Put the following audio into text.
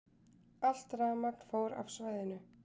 Allt rafmagn fór af svæðinu